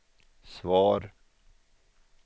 svar